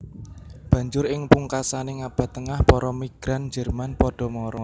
Banjur ing pungkasaning Abad Tengah para migran Jerman padha mara